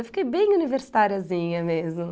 Eu fiquei bem universitáriazinha mesmo.